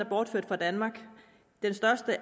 bortført fra danmark